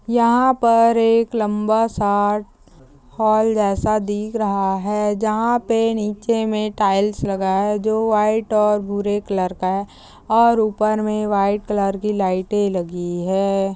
यहा पर एक लंबा सा हॉल जेसा दिख रहा है जहा पे नीचे मे टाइल्स लगा है जो व्हाइट और भूरे कलर का है। और ऊपर मैं व्हाइट कलर की लाइटे लगी है।